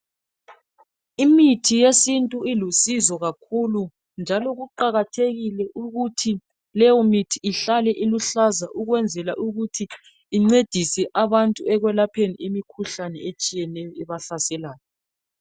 Imithi yesintu ilusizo kakhulu njalo, kuqakathekile ukuthi leyo mithi ihlale iluhlaza ukuze incedise abantu ekwelapheni imikhuhlane eminengi ebahlaselayo.